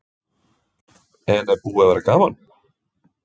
En er búið að vera gaman?